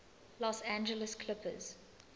los angeles clippers